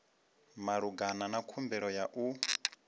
malugana na khumbelo ya u